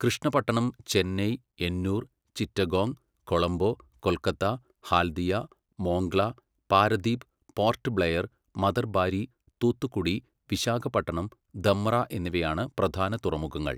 കൃഷ്ണപട്ടണം, ചെന്നൈ, എന്നൂർ, ചിറ്റഗോങ്, കൊളംബോ, കൊൽക്കത്ത ഹാല്ദിയ, മോംഗ്ല, പാരദീപ്, പോർട്ട് ബ്ലെയർ, മതർബാരി, തൂത്തുക്കുടി, വിശാഖപട്ടണം, ധമ്ര എന്നിവയാണ് പ്രധാന തുറമുഖങ്ങൾ.